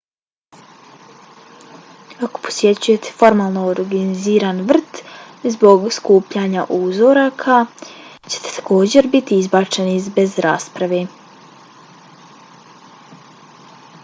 ako posjećujete formalno organiziran vrt zbog skupljanja uzoraka ćete također biti izbačeni bez rasprave